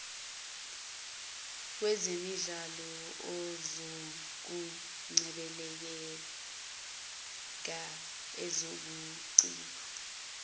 wezemidlalo ezokungcebeleka ezobuciko